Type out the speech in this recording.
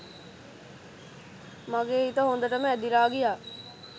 මගෙ හිත හොදටම ඇදිලා ගියා